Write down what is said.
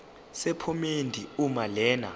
sephomedi uma lena